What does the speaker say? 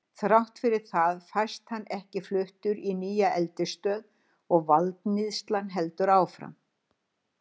Þrátt fyrir það fæst hann ekki fluttur í nýja eldisstöð og valdníðslan heldur áfram.